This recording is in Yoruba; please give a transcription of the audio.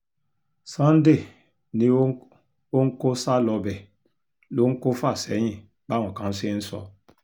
sunday ni òun kò sá lọ bẹ́ẹ̀ lòun kò fà sẹ́yìn báwọn kan ṣe ń sọ